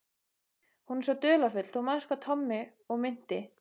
Hún er svo dularfull, þú manst sagði Tommi og minnti